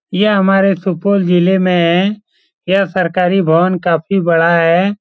यह हमारे सुपौल जिले मे यह सरकारी भवन काफी बड़ा है ।